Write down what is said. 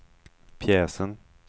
pjäsen